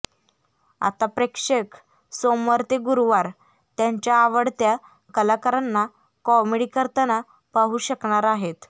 आता प्रेक्षक सोमवार ते गुरुवार त्यांच्या आवडत्या कलाकारांना कॉमेडी करताना पाहू शकणार आहेत